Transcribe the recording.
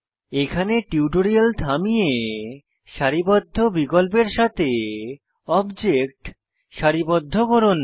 এখানে টিউটোরিয়াল থামিয়ে সারিবদ্ধ বিকল্পের সাথে অবজেক্ট সারিবদ্ধ করুন